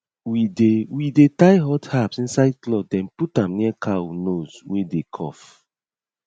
we dey we dey tie hot herbs inside cloth then put am near cow nose wey dey cough